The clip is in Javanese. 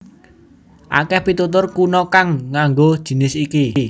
Akèh pitutur kuna kang nganggo jinis iki